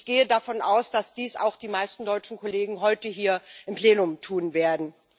Ich gehe davon aus, dass dies auch die meisten deutschen Kollegen heute hier im Plenum tun werden.